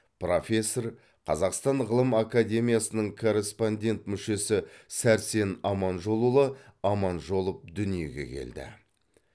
профессор қазақстан ғылым академиясының корреспондент мүшесі сәрсен аманжолұлы аманжолов дүниеге келді